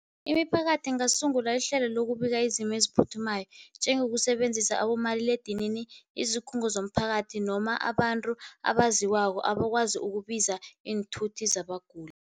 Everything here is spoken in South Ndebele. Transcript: Imiphakathi ingasungula ihlelo lokubika izimo eziphuthumayo, njengokusebenzisa abomaliledinini, izikhungo zomphakathi noma abantu abaziwako abakwazi ukubiza iinthuthi zabaguli.